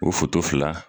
O foto fila